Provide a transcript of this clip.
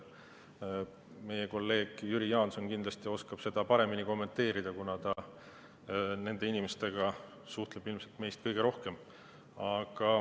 Meie kolleeg Jüri Jaanson kindlasti oskab seda paremini kommenteerida, kuna ta nende inimestega suhtleb ilmselt meist kõige rohkem.